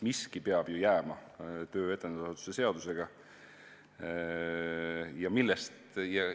Töö etendusasutuse seaduse kallal peab ju jääma.